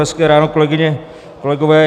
Hezké ráno, kolegyně, kolegové.